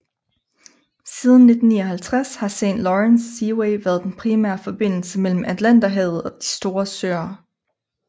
Siden 1959 har Saint Lawrence Seaway været den primære forbindelse mellem Atlanterhavet og De Store Søer